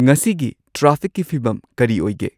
ꯉꯁꯤꯒꯤ ꯇ꯭ꯔꯥꯐꯤꯛꯀꯤ ꯐꯤꯚꯝ ꯀꯔꯤ ꯑꯣꯏꯒꯦ